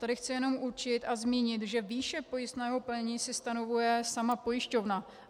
Tady chci jenom určit a zmínit, že výši pojistného plnění si stanovuje sama pojišťovna.